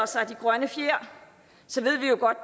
sig de grønne fjer så ved vi jo godt